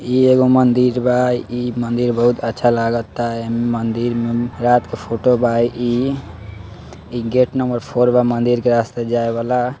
इ एगो मदिर बा | इ मदिर बहुत अच्छा लागता इ मंदिर में रात के फोटो बा | इ इ गेट नंबर फोर बा मंदिर के रास्ता जाए वाला |